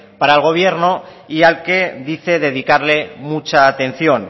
para el gobierno y al que dice dedicarle mucha atención